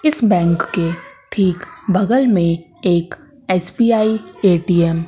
इस बैंक के ठीक बगल में एक एस_बी_आई ए_टी_एम --